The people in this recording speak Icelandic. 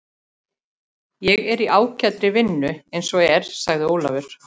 Ég er í ágætri vinnu eins og er, sagði Ólafur.